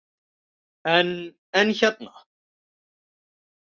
En, en hérna.